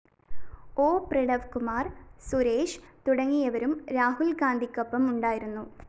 O Pranavkumar‍ Suresh തുടങ്ങിയവരും രാഹുല്‍ ഗാന്ധിയ്‌ക്കൊപ്പമുണ്ടായിരുന്നു